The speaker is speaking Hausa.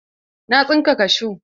Na tsinka kashu.